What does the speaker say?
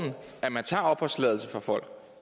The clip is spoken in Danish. at man tager opholdstilladelsen fra folk